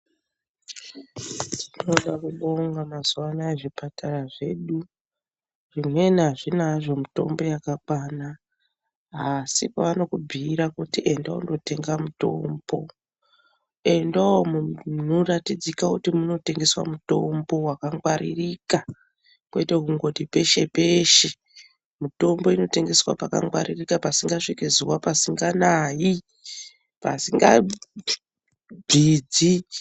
Tinoda kubonga mazuwa anaya zvipatara zvedu zvimweni azvina hazvo mitombo yakakwana asi paanokubhuyira kuti enda undotenga mutombo endawo munoratidzika kuti munotengeswa mitombo wakangwaririka kwete kungoti peshe-peshe mitombo inotengeswa pakangwaririka pasikasviki zuwa pasinganayi pasingabvidzi.